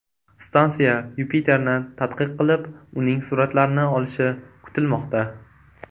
Stansiya Yupiterni tadqiq qilib, uning suratlarini olishi kutilmoqda.